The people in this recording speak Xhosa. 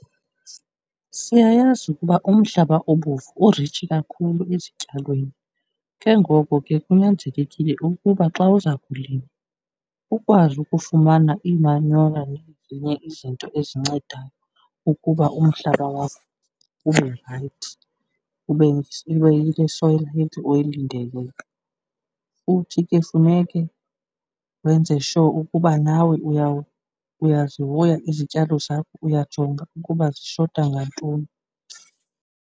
Siyayazi ukuba umhlaba obomvu uritshi kakhulu ezityalweni. Ke ngoko ke kunyanzelekile ukuba xa uza kulima ukwazi ukufumana imanyola nezinye izinto ezincedayo ukuba umhlaba wakho ube rayithi, ube yile soil healthy uyilindeleyo, futhi ke funeke wenze sure ukuba nawe uyazihoya izityalo zakho, uyajonga ukuba zishota ngantoni.